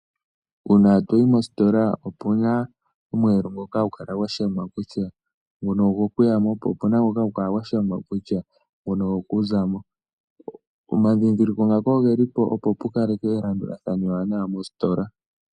Uuna toyi mositola opuna omweelo ngoka hagu kala gwa shangwa kutya nguno ogo kuyamo, po opuna ngoka hagu kala gwa shangwa kutya nguno ogokuza mo. Omadhindhiliko ngaka oge li po, opo pu kalekwe elandulathano ewanawa mositola.